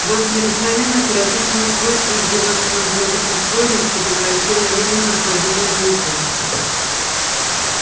у вас необыкновенно отвратительное свойство издеваться над благопристойностью превращая её в непроходимую глупость